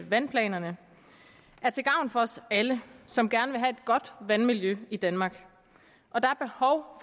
vandplanerne er til gavn for os alle som gerne godt vandmiljø i danmark og der